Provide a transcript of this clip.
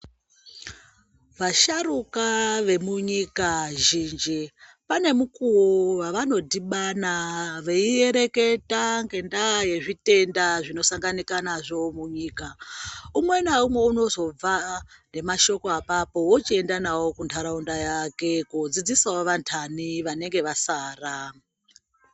Vasharuka vemunyika zhinji pane mukuwo wavano dhibana vei reketa nendaa yezvitenda zvanosanganika nazvo munyika, umwe naumwe unozopa nemashoko akapo oenda nawo kundaraunda yake kodzidzisawo andu vanenge vasara.